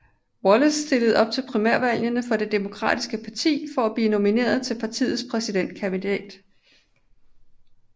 Wallace stillede op til primærvalgene for Det Demokratiske parti for at blive nomineret til partiets præsidentkandidat